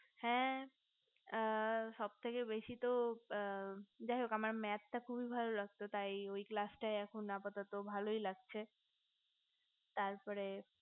হে এ সবথেকে বেশি তো এ যাই হোক আমার maths টা খুবই বেশি ভালো লাগতো তাই ওই class টাই আপাততো এখন ভালোই লাগছে তারপরে